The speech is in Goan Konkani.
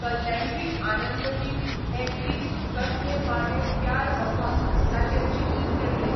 कल्याणजी आनंदजी हें गीत कस्मे वादे प्यार वफा ताचेर चित्रीत केल्लें.